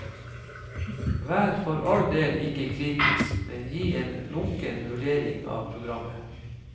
Vær for all del ikke kritisk, men gi en lunken vurdering av programmet.